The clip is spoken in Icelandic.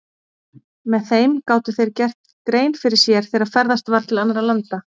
Með þeim gátu þeir gert grein fyrir sér þegar ferðast var til annarra landa.